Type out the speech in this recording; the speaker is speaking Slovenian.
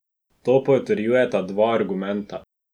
To potrjujeta dva argumenta.